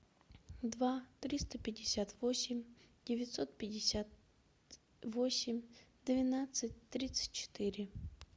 два триста пятьдесят восемь девятьсот пятьдесят восемь двенадцать тридцать четыре